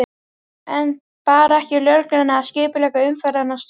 En bar ekki lögreglunni að skipuleggja umferðina og stjórna?